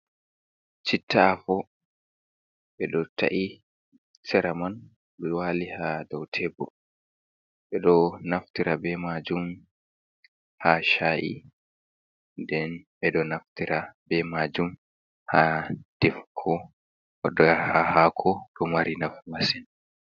Citta afo ɓe ɗo ta’i sera man ɗo waali haa dow teebur ɓe ɗo naftira bee maajum haa cha i nden ɓe ɗo naftira bee maajum haa defugo haa haako, dto mari nafu masin.